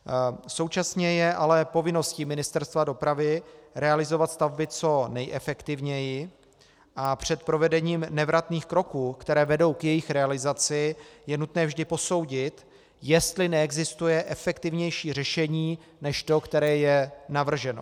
Současně je ale povinností Ministerstva dopravy realizovat stavby co nejefektivněji a před provedením nevratných kroků, které vedou k jejich realizaci, je nutné vždy posoudit, jestli neexistuje efektivnější řešení než to, které je navrženo.